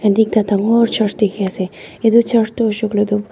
ite ekta dangor church dikhi ase itu church tu hoishe kuiletu.